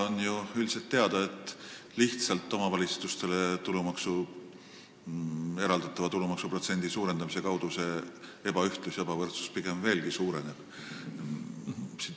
On ju üldiselt teada, et omavalitsustele eraldatava tulumaksuprotsendi lihtsalt suurendamise tõttu see ebaühtlus ja ebavõrdsus pigem veelgi suureneb.